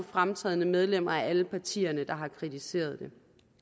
fremtrædende medlemmer af alle partierne der har kritiseret det